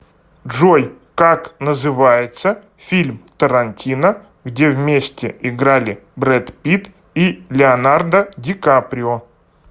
джой как называется фильм тарантино где вместе играли брэд питт и леонардо ди каприо